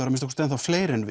að minnsta kosti enn þá fleiri en